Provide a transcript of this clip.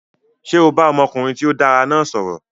Ṣé o bá ọmọkùnrin tí ó dára náà sọ̀rọ̀?